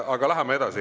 Aga läheme edasi.